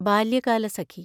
Balyakalasakhi